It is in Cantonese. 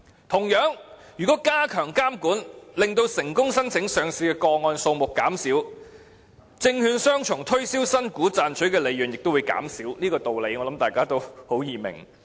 同樣地，如果加強監管，令成功申請上市的個案數目減少，證券商從推銷新股賺取的利潤亦會減少，這個道理相信很容易明白。